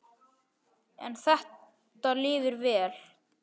En þetta lifir vel.